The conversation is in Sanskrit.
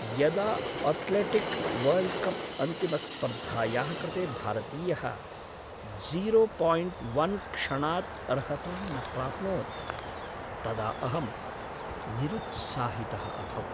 यदा अथ्लेटिक् वर्ल्ड्कप्अन्तिमस्पर्धायाः कृते भारतीयः जीरो पायिण्ट् वन् क्षणात् अर्हतां न प्राप्नोत् तदा अहं निरुत्साहितः अभवम्।